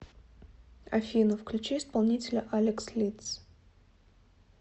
афина включи исполнителя алекс лидс